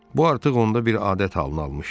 Bu artıq onda bir adət halını almışdı.